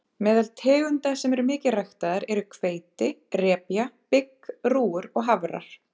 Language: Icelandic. Meðal tegunda sem eru mikið ræktaðar eru hveiti, repja, bygg, rúgur og hafrar.